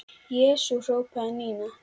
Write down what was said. Jesús hrópaði Nína.